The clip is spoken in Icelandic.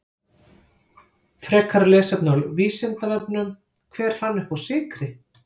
Frekara lesefni á Vísindavefnum: Hver fann uppá sykri?